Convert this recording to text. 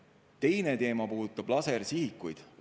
Teine teema puudutab lasersihikuid.